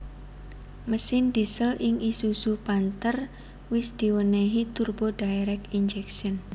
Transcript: Mesin diesel ing isuzu panther wis diwénéhi turbo direct injection